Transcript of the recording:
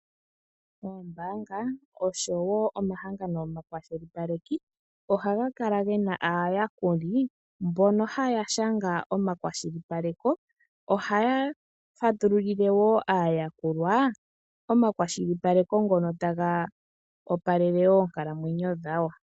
Oombaanga osho wo omahangano omakwashilipaleki ohaga kala ge na aayakuli mbono haya shanga omakwashilipaleko. Ohaya fatululile wo aayakulwa omakwashilipalekp ngono taga opalele oonkalamwenyo dhawo.